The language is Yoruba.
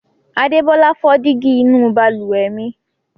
Adébọ́lá fọ́ dígí inú balùwẹ̀ mi.